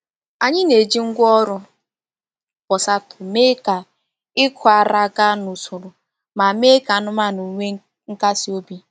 Anyị na-eji ngwá ọrụ pulsator mee ka ịkụ ara gaa n’usoro ma mee ka anụmanụ nwee nkasi obi.